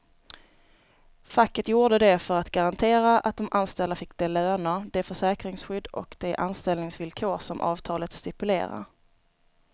Facket gjorde det för att garantera att de anställda fick de löner, det försäkringsskydd och de anställningsvillkor som avtalet stipulerar.